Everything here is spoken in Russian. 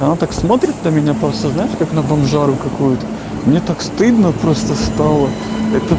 она так смотрит на меня просто знаешь как на бомжару какую-то мне так стыдно просто стало это